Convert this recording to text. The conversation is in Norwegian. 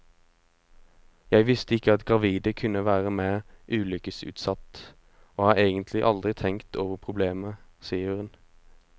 Jeg visste ikke at gravide kunne være mer ulykkesutsatt, og har egentlig aldri tenkt over problemet, sier hun.